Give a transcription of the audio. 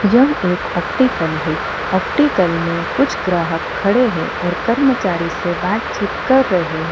यह एक ऑप्टिकल है ऑप्टिकल में कुछ ग्राहक खड़े हैं और कर्मचारियों से बातचीत कर रहे हैं।